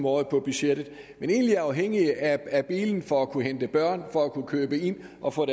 året på budgettet men egentlig er afhængige af bilen for at kunne hente børn for at kunne købe ind og for at